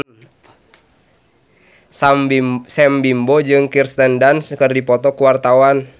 Sam Bimbo jeung Kirsten Dunst keur dipoto ku wartawan